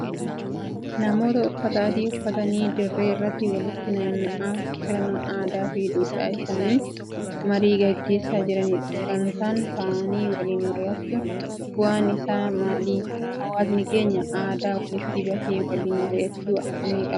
Namoota uffata adii uffatanii dirree irratti walitti naanna'anii sirna aadaa fi duudhaa isaaniin marii gaggeessaa jiranidha. Gamtaan ta'anii waliin mari'achuun bu'aan isaa maali? Hawaasni keenya aadaa walitti bahee waliin mari'achuu akkamii qaba?